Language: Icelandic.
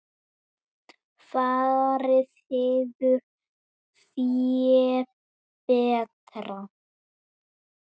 Farið hefur fé betra.